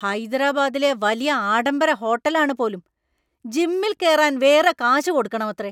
ഹൈദരാബാദിലെ വലിയ ആഢംബര ഹോട്ടൽ ആണ് പോലും! ജിമ്മിൽ കേറാൻ വേറെ കാശ് കൊടുക്കണമത്രേ.